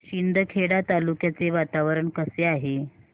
शिंदखेडा तालुक्याचे वातावरण कसे आहे